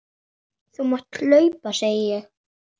Þú mátt hlaupa, segi ég.